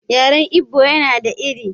Yaren Igbo yana da iri.